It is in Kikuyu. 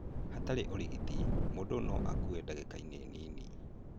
Hatarĩ ũrigiti, mũndũ no akue ndangĩkainĩ nini.